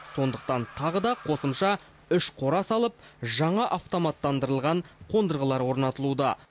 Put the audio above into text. сондықтан тағы да қосымша үш қора салып жаңа автоматтандырылған қондырғылар орнатылуда